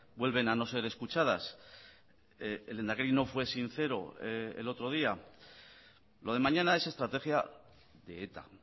vuelven a no ser escuchadas el lehendakari no fue sincero el otro día lo de mañana es estrategia de eta